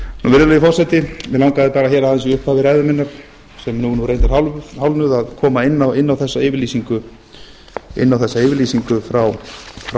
virðulegi forseti mig langaði aðeins í upphafi ræðu minnar sem nú er nú reyndar hálfnuð að koma inn á þessa yfirlýsingu frá